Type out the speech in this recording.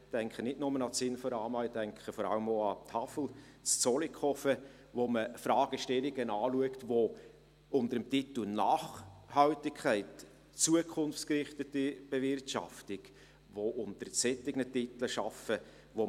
Ich denke nicht nur ans Inforama, ich denke vor allem auch an die Hochschule für Agrar-, Forst- und Lebensmittelwissenschaften (BFHHAFL) in Zollikofen, wo man Fragestellungen anschaut und unter dem Titel Nachhaltigkeit, zukunftsgerichtete Bewirtschaftung auch unter solchen Titeln arbeitet.